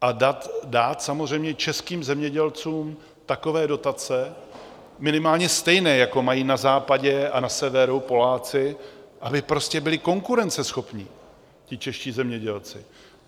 A dát samozřejmě českým zemědělcům takové dotace, minimálně stejné, jako mají na západě a na severu Poláci, aby prostě byli konkurenceschopní ti čeští zemědělci.